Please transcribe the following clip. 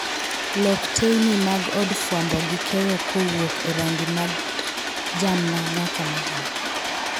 Lok teyni mag od fwambo gi keyo kuwuok erangi mar jamna nyaka majan